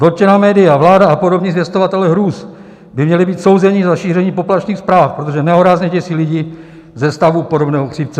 Dotčená média, vláda a podobní zvěstovatelé hrůz by měli být souzeni za šíření poplašných zpráv, protože nehorázně děsí lidi ze stavu podobného chřipce.